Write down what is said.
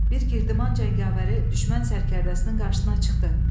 Bir Girdiman cəngavəri düşmən sərkərdəsinin qarşısına çıxdı.